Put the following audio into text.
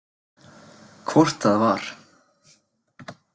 Hvort það var!